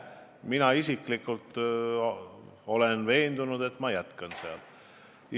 Mina isiklikult olen veendunud, et ma jätkan seal.